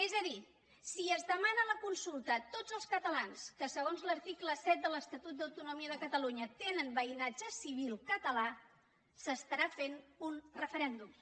és a dir si es demana la consulta a tots els catalans que segons l’article set de l’estatut d’autonomia de catalunya tenen veïnatge civil català s’estarà fent un referèndum